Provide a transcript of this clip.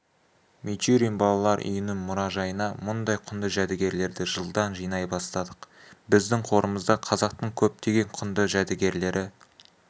мичурин балалар үйінің мұражайына мұндай құнды жәдігерлерді жылдан жинай бастадық біздің қорымызда қазақтың көптеген құнды жәдігерлері